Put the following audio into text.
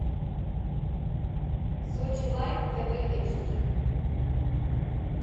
сочи лайв тв эйч ди